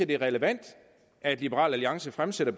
det er relevant at liberal alliance fremsætter